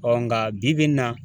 nga bi bi in na